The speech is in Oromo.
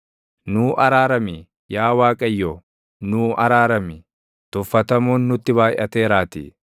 Nuu araarami; yaa Waaqayyo, nuu araarami; tuffatamuun nutti baayʼateeraatii.